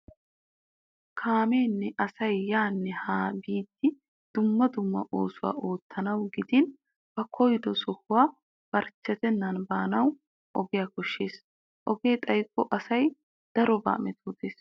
Kaameenne asay yaanne haanba biidi dumma dumma oosuwa oottanawu gidin ba koyido sohuwa barchchetennan baanawu ogiya koshshees. Ogee xaykko asay darobaa metootees.